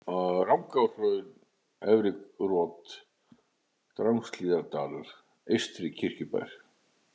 Rangárhraun, Efri-Rot, Drangshlíðardalur, Eystri-Kirkjubær